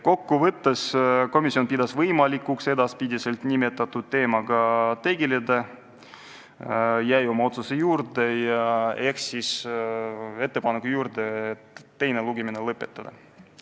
Kokku võttes pidas komisjon võimalikuks edaspidi nimetatud teemaga tegeleda ja jäi oma otsuse juurde ehk siis ettepaneku juurde teine lugemine lõpetada.